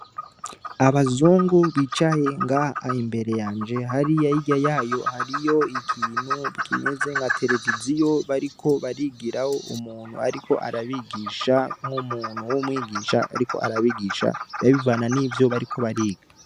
Abazungu bicaye nga imbere yanje hari yayira yayo hariyo ikintu bwimeze nka televiziyo bariko barigiraho umuntu, ariko arabigisha nk'umuntu w'umwigisha, ariko arabigisha babivana n'ivyo bariko bariga.